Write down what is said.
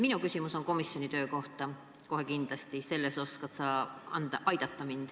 Minu küsimus on komisjoni töö kohta, kohe kindlasti sa oskad mind selles osas aidata.